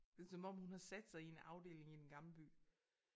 Det er som om hun har sat sig i en afdeling i Den Gamle By